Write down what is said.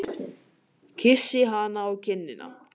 Kyssi hana á kinnina.